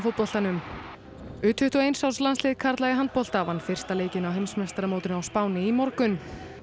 kvennafótboltanum u tuttugu og eins árs landslið karla í handbolta vann fyrsta leikinn á heimsmeistaramótinu á Spáni í morgun